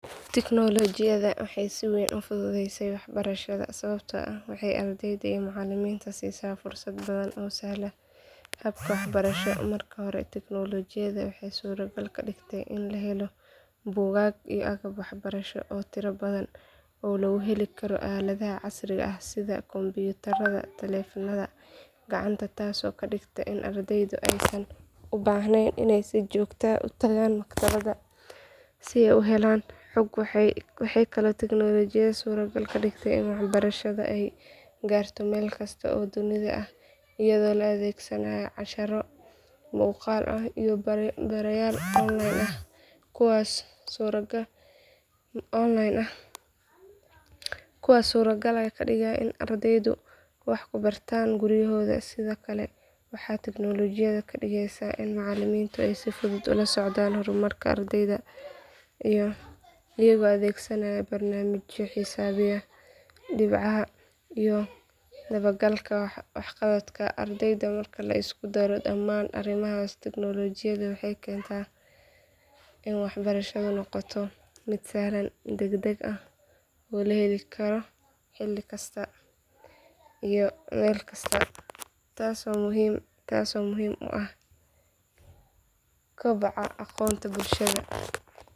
Teknolojiyada waxay si weyn u fududeeyeen waxbarashada sababta waxay ardayda in macalimiinta siisaa fursad badan oo sahlan habka waxbarasho marka hore teknolojiyada waxay suuragal ka dhigtay in la helo buugaag iyo aagab waxbarasho oo tira badan oo lagu heli karo aaladaha casriga ah sida kompyutarada , telefonada gacanta taas oo ma dhigta in ardaydu aysan u baahnayn inay si joogto u tagaan makrabada si ay u helaan xog waxay kala tagnoolajiyada suuragal ka dhigtay ee waxbarashada ay gaarto meel kasta oo dunida ah iyadoo la adeegsanaayo casharo muuqaal ah iyo darayaal online ah kuwas suuragal ah ka dhigaan in ardaydu wax ku bartaan guryahooda sida kale waxaa tiknolojiyada ka dhigeysaa in macalimiintu ay si fudud ula socdaan horumarka ardayda iyagoo adeegsanayo barnaamijyo xisaabiyaa dhibcaha iyo dabagalka waxqabadka ardayda marka la isku daro dhammaan arrimahaas tiknolojiyada waxay keentaa in waxbarashadu noqoto mid sahlan deg deg ah oo leveling karo xili kasta iyo meel kasta taas oo muhiim uu ah kobaca bulshada.